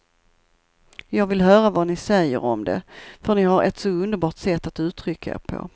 Jag vill höra vad ni säger om det, för ni har ett så underbart sätt att uttrycka er på.